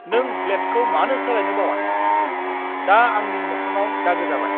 नों ब्लेडखौ मानो सोलायनो बावआ? दा आंनि मोखांआव दागो जाबाय!